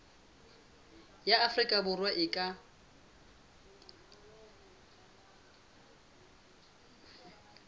wa afrika borwa a ka